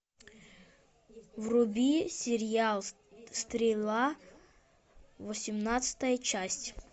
вруби сериал стрела восемнадцатая часть